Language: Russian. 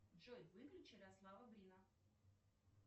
джой выключи ярослава брина